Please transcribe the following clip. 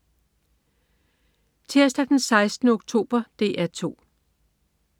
Tirsdag den 16. oktober - DR 2: